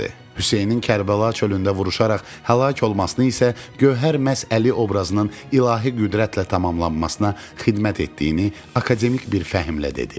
Hüseynin Kərbəla çölündə vuruşaraq həlak olmasını isə Gövhər məhz Əli obrazının ilahi qüdrətlə tamamlanmasına xidmət etdiyini akademik bir fəhmlə dedi.